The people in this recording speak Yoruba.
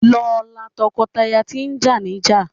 Lọ la tọkọtaya tí jà níjà!